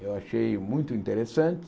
Eu achei muito interessante.